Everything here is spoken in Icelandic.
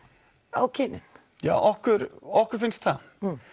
á kynin já okkur okkur finnst það